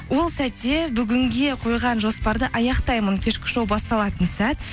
ол сәтте бүгінге қойған жоспарды аяқтаймын кешкі шоу басталатын сәт